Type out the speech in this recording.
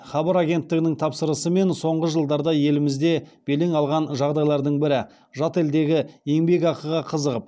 хабар агенттігінің тапсырысымен соңғы жылдарда елімізде белең алған жағдайлардың бірі жат елдегі еңбекақыға қызығып